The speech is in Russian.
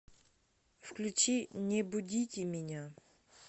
включи не будите меня